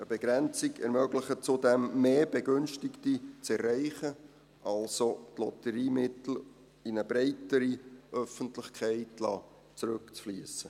Eine Begrenzung ermöglicht zudem mehr Begünstigte zu erreichen, also die Lotteriemittel in eine breitere Öffentlichkeit zurückfliessen zu lassen.